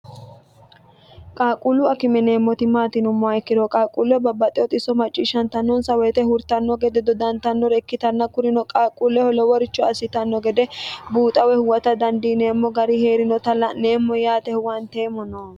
qaaquullu akime yineemmoti maati yinummoha ikkiro qaalquulleho babbaxiteo xisso macciishshantannonsa woyite hurtanno gede dodantannore ikkitanna kurino qaaquulleho loworicho assitanno gede buuxa woy huwata dandiineemmo gari heerinota la'neemmono yaate huwanteemmono.